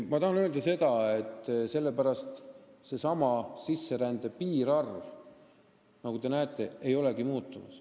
Ma tahan öelda, et sellepärast see sisserände piirarv, nagu te näete, ei olegi muutunud.